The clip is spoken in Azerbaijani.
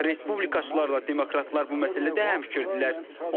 Respublikaçılarla demokratlar bu məsələdə həmfikirdirlər.